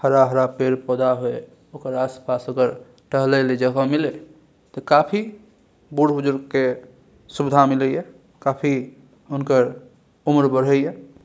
हरा-हरा पेड़ पौधा हेय ओकर आस-पास ओकर टहले ले जगह मिले ते काफी बुड़ बुजुर्ग के सुविधा मिले ये काफी हुनकर उम्र बढ़े ये।